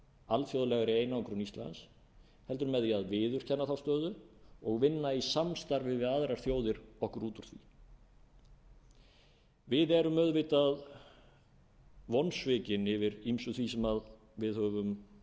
alþjóðlegri einangrun íslands heldur með því að viðurkenna þá stöðu og vinna í samstarfi við aðrar þjóðir okkur úr úr því við erum auðvitað vonsvikin yfir ýmsu því sem við höfum